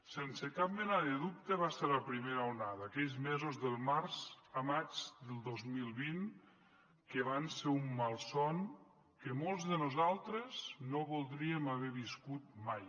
sense cap mena de dubte va ser la primera onada aquells mesos de març a maig del dos mil vint que van ser un malson que molts de nosaltres no voldríem haver viscut mai